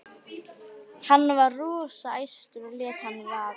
Gæti hún ekki hlaupið undir bagga?